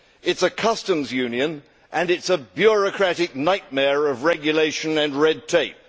It is a customs union and it is a bureaucratic nightmare of regulation and red tape.